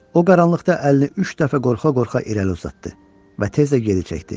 O qaranlıqda əlini üç dəfə qorxa-qorxa irəli uzatdı və tez də geri çəkdi.